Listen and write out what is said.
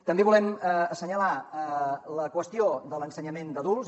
també volem assenyalar la qüestió de l’ensenyament d’adults